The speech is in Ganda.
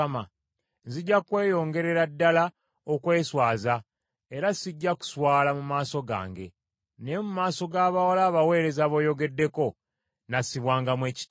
Nzija kweyongerera ddala okweswaza, era sijja kuswala mu maaso gange, naye mu maaso g’abawala abaweereza b’oyogeddeko, nnaasibwangamu ekitiibwa.”